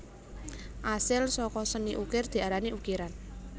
Asil saka seni ukir diarani ukiran